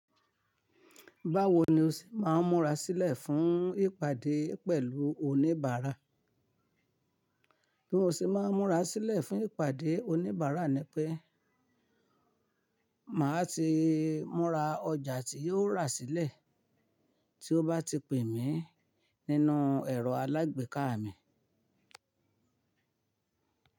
Báwo ni o ṣe máa ń múra sílẹ̀ fún ìpàdé pẹ̀lú oníbàárà? Bí mo ṣe máa ń múra sílẹ̀ fún ìpàdé oníbàárà ni pé màá ti múra ọjà tí yóò rà sílẹ̀ tí ó bá ti pè mí nínú ẹ̀rọ alágbèéká mi.